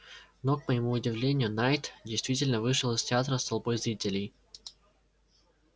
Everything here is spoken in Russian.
но к моему удивлению найд действительно вышел из театра с толпой зрителей